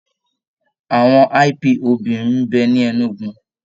Àwọn IPOB ń bẹ ni Enugu